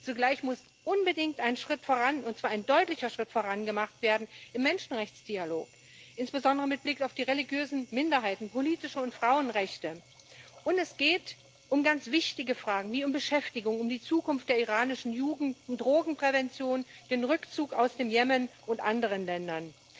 Zugleich muss unbedingt ein Schritt voran und zwar ein deutlicher Schritt voran gemacht werden im Menschenrechtsdialog, insbesondere mit Blick auf die religiösen Minderheiten, politische Rechte und Frauenrechte. Es geht um ganz wichtige Fragen, wie um Beschäftigung, um die Zukunft der iranischen Jugend, um Drogenprävention, den Rückzug aus dem Jemen und aus anderen Ländern.